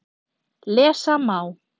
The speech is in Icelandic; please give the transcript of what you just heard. Lesa má